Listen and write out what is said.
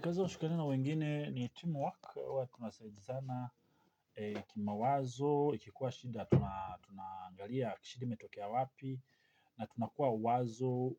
Kazi ukishikana na wengine ni teamwork huwa tunasaidizana. Kimawazo, ikikuwa shida, tunaangalia shida imetokea wapi, na tunakuwa wazo,